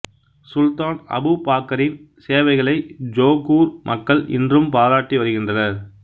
சுல்தான் Abu பாக்காரின் சேவைகளை Johor மக்கள் இன்றும் பாராட்டி வருகின்றனர்